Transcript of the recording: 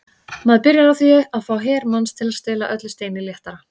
Maður byrjar á því að fá her manns til að stela öllu steini léttara.